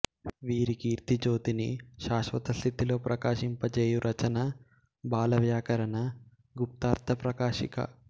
వీరి కీర్తి జ్యోతిని శాశ్వతస్థితిలో ప్రకాశింపజేయు రచన బాలవ్యాకరణ గుప్తార్థ ప్రకాశిక